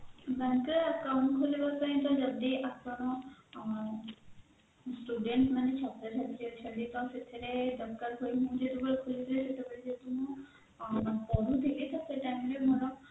bankରେ account ଖୋଲିବା ପାଇଁ ତ ଯଦି ଆପଣ student ମାନେ ଛାତ୍ର ଛାତ୍ରୀ ଅଛନ୍ତି ତ ସେଥିରେ ଦରକାର ପଡୁନି ଯେତେବେଳେ ଯେ ମୁଁ ପଢୁଥିଲି ତ ସେଇ time ରେ ମୋର